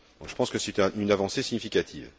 Je pense que c'est une avancée significative.